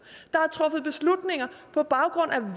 på baggrund af